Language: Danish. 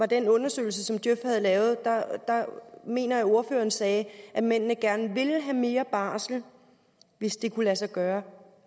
den undersøgelse djøf havde lavet det mener jeg ordføreren sagde at mændene gerne ville have mere barsel hvis det kunne lade sig gøre